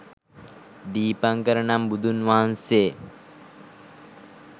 දීපංකර නම් බුදුන් වහන්සේ